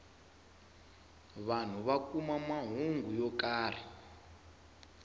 vanhu va kuma mahungu yo karhi